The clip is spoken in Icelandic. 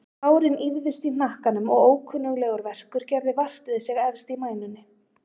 Hárin ýfðust í hnakkanum og ókunnuglegur verkur gerði vart við sig efst í mænunni.